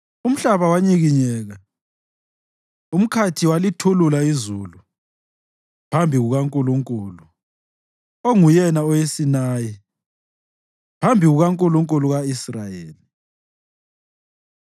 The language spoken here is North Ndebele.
umhlaba wanyikinyeka, umkhathi walithulula izulu, phambi kukaNkulunkulu, onguYena oweSinayi, phambi kukaNkulunkulu ka-Israyeli.